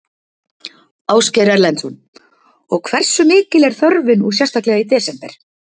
Ásgeir Erlendsson: Og hversu mikil er þörfin og sérstaklega í desember?